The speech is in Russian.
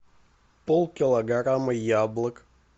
полкилограмма яблок